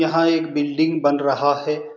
यहाँ एक बिल्डिंग बन रहा है।